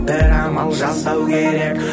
бір амал жасау керек